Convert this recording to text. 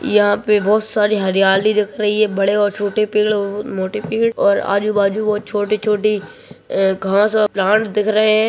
यहाँ पे बहोत सारी हरियाली दिख रही है बड़े और छोटे पेड़ और मोटे पेड़ और आजू बाजू वो छोटी-छोटी अ घास और प्लांट दिख रहे हैं।